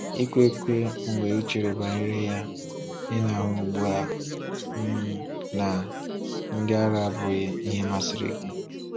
Ikekwe, mgbe ị chere banyere ya, ị na-ahụ ugbu a um na “ndị ara” abụghị ihe masịrị gị.